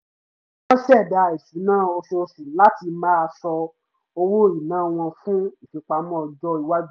wọ́n ṣẹ̀dá ìṣúná oṣooṣù láti máa sọ owó ìná wọn fún ìfipamọ́ ọjọ́ iwájú